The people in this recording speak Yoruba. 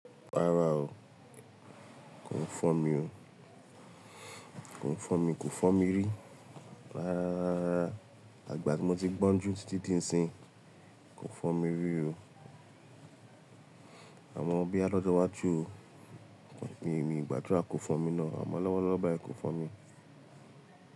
Rárá o, kò fọ́ mi o. Kò fọ́ mi, kò fọ́ mi rí. Rárá, rárá, rárá. Àtigbà tí mo ti gbọ́njú títí dí ǹsìn, kò fọ́ mi rí o. Àmọ́ boya lọ́jọ́ iwáju o, mi n gbàdúrà kò fọ́ mi náà, àmọ́ lọ́wọ́lọ́wọ́ báyìí kò fọ́ mi.